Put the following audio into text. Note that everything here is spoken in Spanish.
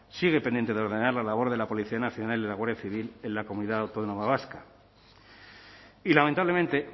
sigue pendiente de ordenar la labor de la policía nacional y la guardia civil en la comunidad autónoma vasca y lamentablemente